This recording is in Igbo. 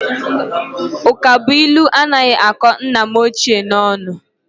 Ụkabụilu anaghị akọ nna m ochie n'ọnụ